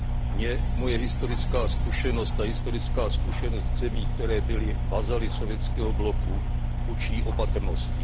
Mě moje historická zkušenost a historická zkušenost ze zemí, které byly vazaly sovětského bloku, učí opatrnosti.